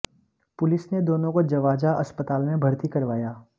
police ने दोनों को जवाजा अस्पताल में भर्ती करवाया